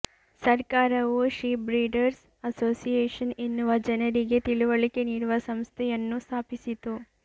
ಸರ್ಕಾರವು sheep breeders association ಎನ್ನುವ ಜನರಿಗೆ ತಿಳುವಳಿಕೆ ನಿಡುವ ಸಂಸ್ಥೆಯನ್ನು ಸ್ಥಾಪಿಸಿತು